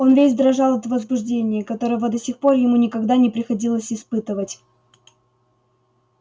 он весь дрожал от возбуждения которого до сих пор ему никогда не приходилось испытывать